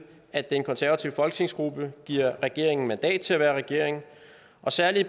at den konservative folketingsgruppe giver regeringen mandat til at være regering og særlig